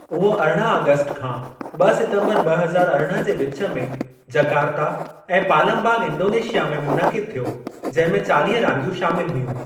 उहो अरिड़हं ऑगस्ट खां ॿ सितम्बर ॿ हज़ार अरिड़हं जे विचु में जकार्ता ऐं पालमबांग इंडोनेशिया में मुनक़िद थियो जंहिं में चालीह रांदियूं शामिल हुयूं।